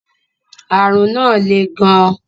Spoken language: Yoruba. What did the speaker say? Àrùn náà le gan.